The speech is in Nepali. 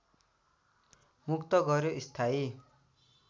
मुक्त गर्‍यो स्थायी